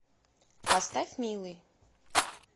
поставь милый